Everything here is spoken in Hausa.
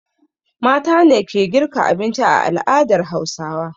Mata ne ke girka abinci a al'adar Hausawa.